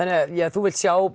þú vilt sjá